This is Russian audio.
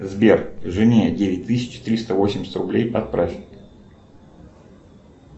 сбер жене девять тысяч триста восемьдесят рублей отправь